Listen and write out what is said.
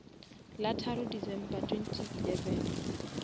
la tharo december twenty eleven